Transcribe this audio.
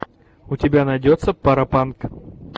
у тебя найдется паропанк